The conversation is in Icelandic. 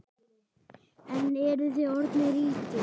En eruð þið orðnir ríkir?